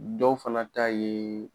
Dɔw fana ta ye